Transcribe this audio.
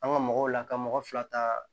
An ka mɔgɔw la ka mɔgɔ fila ta